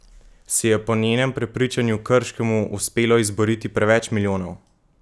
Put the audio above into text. Si je po njenem prepričanju Krškemu uspelo izboriti preveč milijonov?